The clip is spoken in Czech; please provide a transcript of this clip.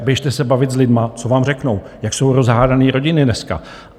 A běžte se bavit s lidmi, co vám řeknou, jak jsou rozhádané rodiny dneska.